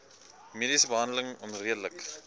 mediese behandeling onredelik